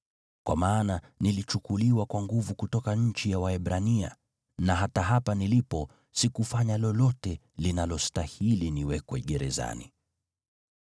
Kwa maana nilichukuliwa kwa nguvu kutoka nchi ya Waebrania, na hata hapa nilipo sikufanya lolote linalostahili niwekwe gerezani.”